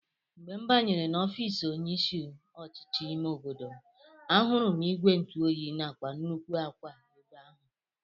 Mgbe m banyere n'ofiisi onye isi ọchịchị ime obodo m, ahụrụ m ìgwè ntụoyi nakwa nnukwu akwa ebe ahụ